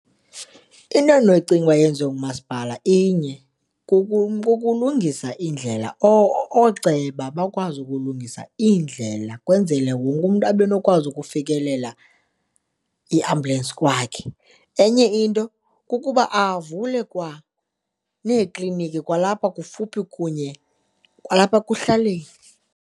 Into endinoyicinga uba yenziwe ngumasipala inye, kukulungisa indlela ooceba bakwazi ukulungisa iindlela kwenzele wonke umntu abe nokwazi ukufikelela iambhyulensi kwakhe. Enye into kukuba avule kwaneekliniki kwalapha kufuphi kunye kwalapha ekuhlaleni.